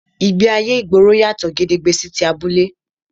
Ìgbéayé ìgboro yàtọ̀ gedegbe sí ti abúlé